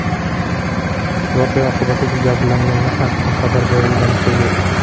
Voqea oqibatida jabrlanganlar haqida xabar berilganicha yo‘q.